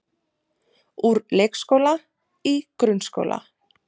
Úr leikskóla í grunnskóla